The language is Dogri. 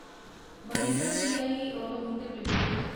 Mahindra CIE automotive limited